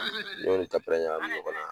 n y'o ni tapɛrɛn ɲagamin ɲɔgɔn na